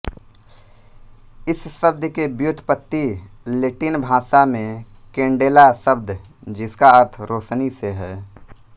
इस शब्द की व्युत्पत्ति लेटिन भाषा में केंडेला शब्द जिसका अर्थ रोशनी से है